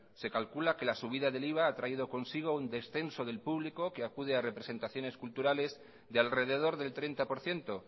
se calcula que la subida del iva ha traído consigo un descenso del público que acude a representaciones culturales de alrededor del treinta por ciento